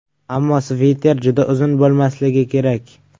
Ammo sviter juda uzun bo‘lmasligi kerak.